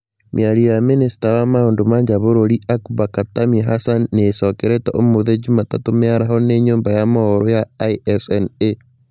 Mĩario ya minista wa maũndũ ma njaa wa bũrũri Akbar Khatami Hassan nĩĩcokerirwo ũmũthĩ jumatatũ mĩaraho nĩ nyũmba ya mohoro ya ISNA